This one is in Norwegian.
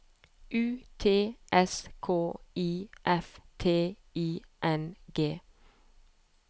U T S K I F T I N G